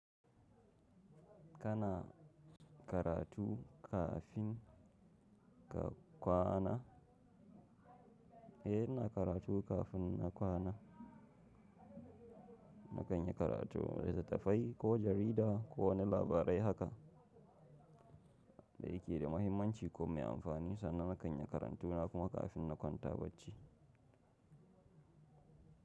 Kana karatu kafin ka kwana? Eh ina karatu kafin na kwana. Na kan yi karatun litittafai ko jarida ko wani labarai haka yake da muhimmanci ko mai amfani sannan na kan yi karatu na kuma kafin na kwanta bacci.